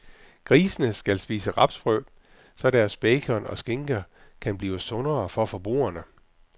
Grisene skal spise rapsfrø, så deres bacon og skinker kan blive sundere for forbrugerne.